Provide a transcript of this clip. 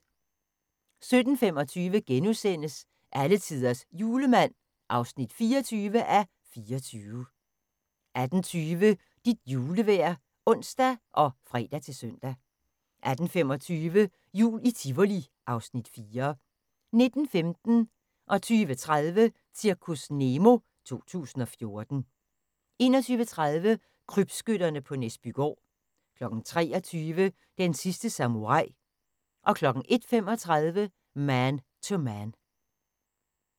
17:25: Alletiders Julemand (24:24)* 18:20: Dit julevejr (ons og fre-søn) 18:25: Jul i Tivoli (Afs. 4) 19:15: Zirkus Nemo 2014 20:30: Zirkus Nemo 2014 21:30: Krybskytterne på Næsbygård 23:00: Den sidste samurai 01:35: Man to Man